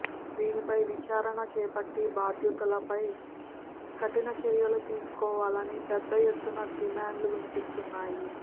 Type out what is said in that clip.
దీనిపై విచారణ చేపట్టి బాధ్యులపై కఠిన చర్యలు తీసుకోవాలని పెద్ద ఎత్తున డిమాండ్లు వినిపిస్తున్నాయి